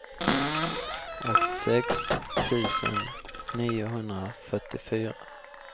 åttiosex tusen niohundrafyrtiofyra